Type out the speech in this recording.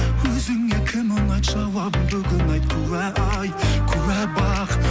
өзіңе кім ұнайды жауабын бүгін айт куә ай куә бақ